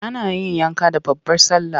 Ana yin yanka da babbar sallah.